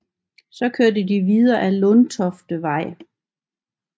Så kørte de videre ad Lundtoftevej